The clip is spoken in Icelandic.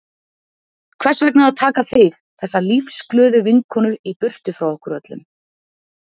Hvers vegna að taka þig, þessa lífsglöðu vinkonu í burtu frá okkur öllum?